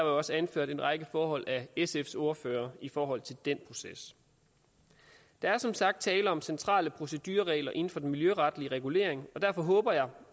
også anført en række forhold af sfs ordfører i forhold til den proces der er som sagt tale om centrale procedureregler inden for den miljøretlige regulering og derfor håber jeg